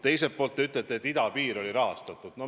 Teiseks, te ütlete, et idapiir oli rahastatud.